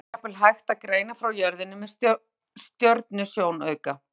Skýin er jafnvel hægt að greina frá jörðinni með stjörnusjónauka.